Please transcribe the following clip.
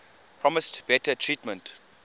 promised better treatment